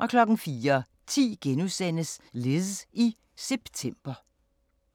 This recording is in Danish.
* 04:10: Liz i september *